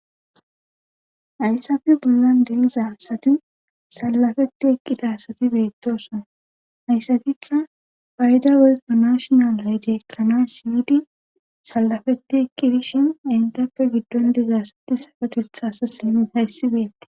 Hayssape bollan de7iza asati salafeti eqqida asati beettoosona haysatikka payda woykko national ayde ekkanas yiidi salafetti eqqi dishin entappe giddon diza asati sarotetta asassi naagayssi beettes.